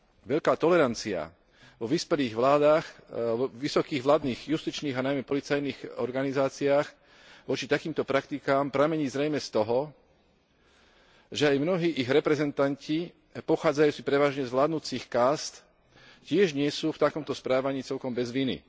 Veľká tolerancia vo vyspelých vládach, vysokých vládnych justičných, a najmä policajných organizáciách voči takýmto praktikám pramení zrejme z toho, že aj mnohí ich reprezentanti pochádzajúci prevažne z vládnucich kást tiež nie sú v takomto správaní celkom bez viny.